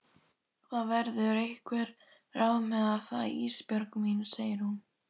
Það verða einhver ráð með það Ísbjörg mín, segir hún.